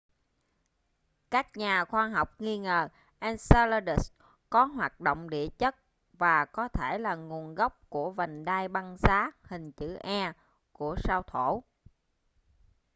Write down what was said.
các nhà khoa học nghi ngờ enceladus có hoạt động địa chất và có thể là nguồn gốc của vành đai băng giá hình chữ e của sao thổ